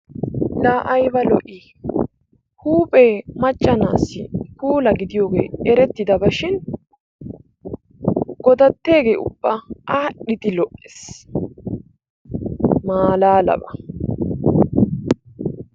Laa ayba lo"ii huuphee macca na"assi puula gidiyoge erettidaba shin godatteege ubba aadhdhidi lo"ees maalalaba!